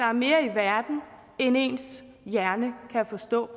er mere i verden end ens hjerne kan forstå